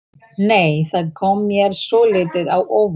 Nei! Það kom mér svolítið á óvart!